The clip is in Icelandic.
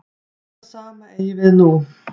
Það sama eigi við nú.